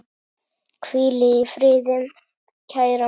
Hvíl í friði kæra Magga.